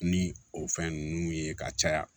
Ni o fɛn ninnu ye ka caya